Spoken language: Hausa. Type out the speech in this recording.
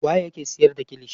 Waye yake siyar da kilishi.